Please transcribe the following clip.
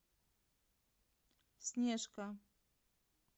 снежка